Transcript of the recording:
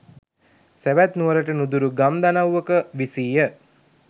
සැවැත් නුවරට නුදුරු ගම් දනව්වක විසීය.